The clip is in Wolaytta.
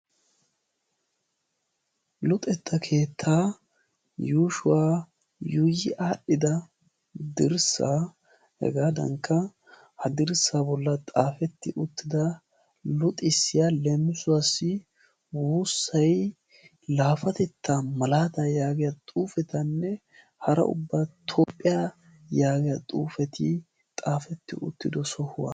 luxetta keettaa yuushuwaa yuuyi aadhdhida dirssaa hegaadankka ha dirssaa bolla xaafetti uttida luxissiya leemusuwaassi "wuussay laafatetta malaataa" yaagiya xuufetanne hara ubba "toophphiyaa" yaagiya xuufeti xaafetti uttido sohuwaa.